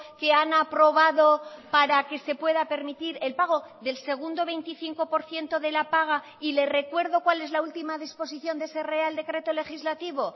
que han aprobado para que se pueda permitir el pago del segundo veinticinco por ciento de la paga y le recuerdo cuál es la última disposición de ese real decreto legislativo